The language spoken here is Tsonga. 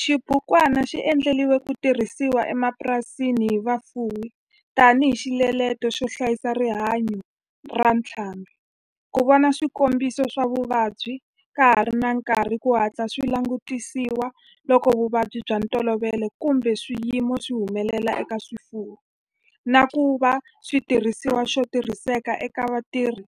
Xibukwana xi endliwe ku tirhisiwa emapurasini hi vafuwi tani hi xiletelo xo hlayisa rihanyo ra ntlhambhi, ku vona swikombiso swa vuvabyi ka ha ri na nkarhi ku hatla swi langutisiwa loko vuvabyi bya ntolovelo kumbe swiyimo swi humelela eka swifuwo, na ku va xitirhisiwa xo tirhiseka eka vatirhi